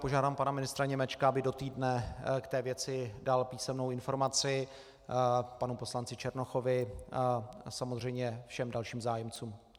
Požádám pana ministra Němečka, aby do týdne k té věci dal písemnou informaci panu poslanci Černochovi a samozřejmě všem dalším zájemcům.